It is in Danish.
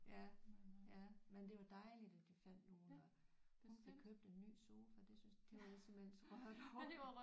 Ja ja men det var dejligt at de fandt nogle og nogle der købte en ny sofa det blev jeg simpelthen så rørt over